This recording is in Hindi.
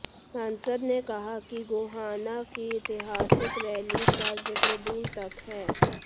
सांसद ने कहा कि गोहाना की ऐतिहासिक रैली का जिक्र दूर तक है